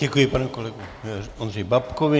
Děkuji panu kolegovi Ondřeji Babkovi.